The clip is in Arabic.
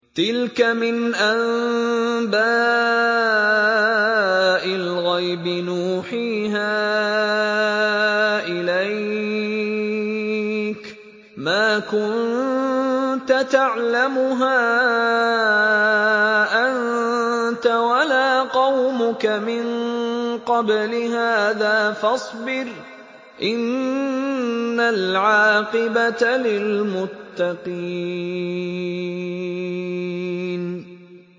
تِلْكَ مِنْ أَنبَاءِ الْغَيْبِ نُوحِيهَا إِلَيْكَ ۖ مَا كُنتَ تَعْلَمُهَا أَنتَ وَلَا قَوْمُكَ مِن قَبْلِ هَٰذَا ۖ فَاصْبِرْ ۖ إِنَّ الْعَاقِبَةَ لِلْمُتَّقِينَ